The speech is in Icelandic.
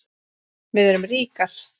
Við erum ríkar